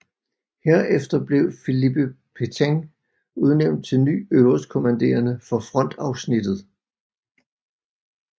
Herefter blev Philippe Pétain udnævnt til ny øverstkommanderende for frontafsnittet